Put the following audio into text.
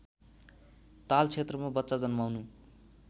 तालक्षेत्रमा बच्चा जन्माउनु